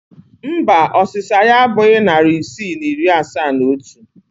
Mba, ọsịsa ya abụghị narị isii na iri asaa na otu